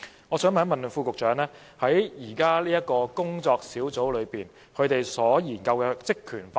我想問局長關於現正進行研究的工作小組的職權範圍。